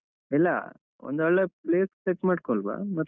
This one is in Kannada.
ಇಲ್ಲ ಒಂದು ಒಳ್ಳೆ place set ಮಾಡ್ಕೊಲ್ವ ಮತ್ತೆ ಈವಾಗ.